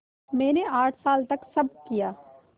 मैंने आठ साल तक सब किया